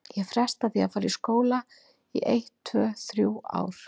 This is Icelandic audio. Ég fresta því að fara í skóla í eitt, tvö, þrjú ár.